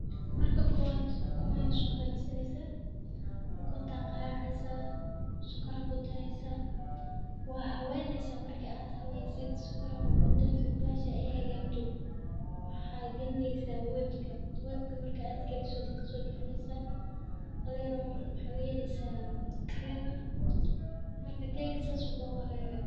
Marka koowaad ukunta ayaa la hagaajinayaa, ukuna waa la qarqayaa. Sokor ayaa lagu darayaa, waa la habaynayaa. Marka aad habayso sokorta aad ku dartay, basasha ay hagaagto waxaad gelinaysaa weelka. Weelka marka aad geliso, waa ka soo bixinaysaa haley yar oo u eg sida tareen ah. Marka keeggu sidaas ayuu kugu hagaagayaa.